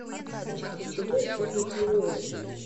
в качестве чего используют толуол